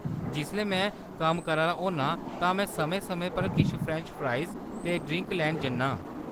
जिसलै में कम्म करा दा होन्नां तां में समें-समें पर किश फ्रैंच फ्राइज़ ते ड्रिंक लैन जन्ना आं।